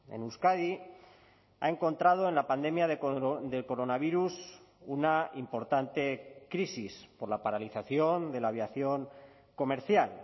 en euskadi ha encontrado en la pandemia del coronavirus una importante crisis por la paralización de la aviación comercial